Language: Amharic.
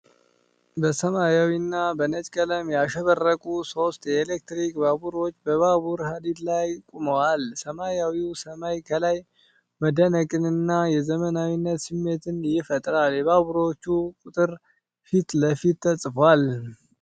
በሰማያዊና በነጭ ቀለም ያሸበረቁ ሦስት የኤሌክትሪክ ባቡሮች በባቡር ሐዲድ ላይ ቆመዋል። ሰማያዊው ሰማይ ከላይ መደነቅንና የዘመናዊነት ስሜትን ይፈጥራል። የባቡሮቹ ቁጥር ፊት ለፊት ተጽፏል።